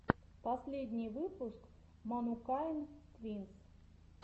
последний выпуск манукайн твинс